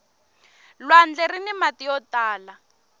lwandle rini mati yo tala